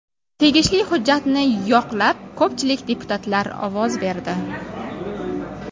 Tegishli hujjatni yoqlab ko‘pchilik deputatlar ovoz berdi.